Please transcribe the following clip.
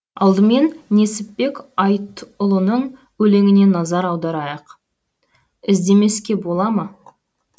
алдымен несіпбек айтұлының өлеңіне назар аударайық іздемеске бола ма